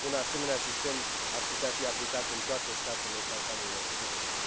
Un asemenea sistem ar putea fi aplicat în toate statele Balcanilor de Vest.